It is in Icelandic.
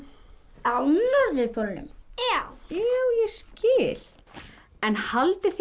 á norðurpólnum ég skil en haldið þið